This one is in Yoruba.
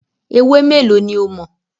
Ewé mélòó ní o mọ̀?